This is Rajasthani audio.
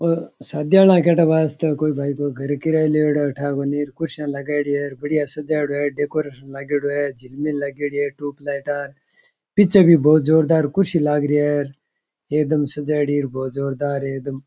शादियां लगदे वास्ते कोई भाई कोई घर किराये लेवडो है को नई कुर्सियां लगायेदि है सजेडी है डेकोरेशन लगायेड़ी है झिलमिल लागेड़ी है टूब लाइटा पीछे भी बहुत जोरदार कुर्सी लग रे है एकदम सजायेड़ी है बहुत जोरदार एकदम --